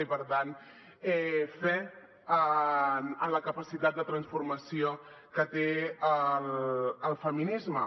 i per tant fe en la capacitat de transformació que té el feminisme